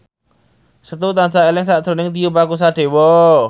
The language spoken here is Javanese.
Setu tansah eling sakjroning Tio Pakusadewo